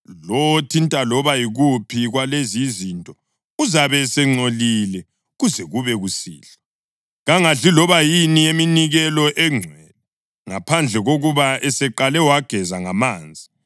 Lowo othinta loba yikuphi kwalezi izinto uzabe esengcolile kuze kube kusihlwa. Kangadli loba yini eyeminikelo engcwele, ngaphandle kokuba eseqale wageza ngamanzi.